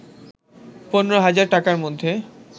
১৫ হাজার টাকার মধ্যে